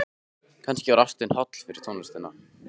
Kannski var ástin holl fyrir tónlistina.